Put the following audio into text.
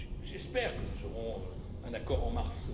J'espère que nous aurons un accord en